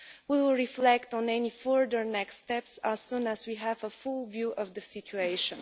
We will reflect on any further next steps as soon as we have a full view of the situation.